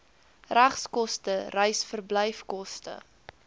regskoste reis verblyfkoste